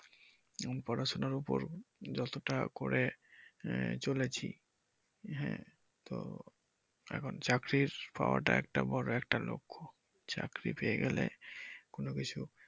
পড়াশুনার উপর যতটা করে আহ চলেছি হ্যা তো এখন চাকরির পাওয়াটা একটা বড় একটা লক্ষ্য চাকরি পেয়ে গেলে কোনকিছু